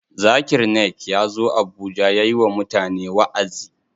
Zakir Naik yazo abuja yayi wa mutane waʼazi.